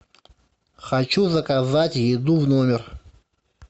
хочу заказать еду в номер